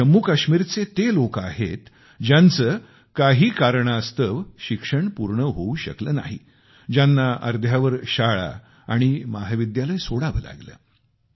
हे जम्मूकाश्मीरचे ते लोकं आहेत ज्यांचे काही कारणास्तव शिक्षण पूर्ण होऊ शकले नाही ज्यांना अर्ध्यावर शाळा आणि महाविद्यालय सोडावे लागले